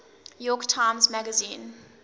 york times magazine